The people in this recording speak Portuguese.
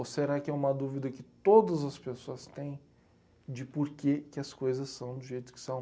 Ou será que é uma dúvida que todas as pessoas têm de por quê que as coisas são do jeito que são?